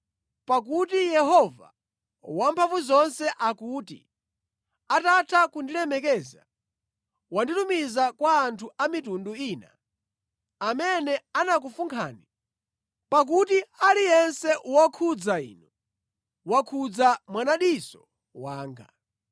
Pakuti Yehova Wamphamvuzonse akuti, “Atatha kundilemekeza wanditumiza kwa anthu a mitundu ina amene anakufunkhani; pakuti aliyense wokhudza inu wakhudza mwanadiso wanga.